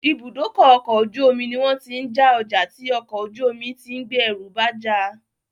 Ìbúdókọ̀ ọ̀kọ̀ ojú omi ní wọ́n tí ń já ọjà tí ọkò ojú omi tí ń gbé ẹrù bá já